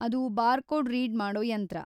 ಅದು barcode read ಮಾಡೋ ಯಂತ್ರ.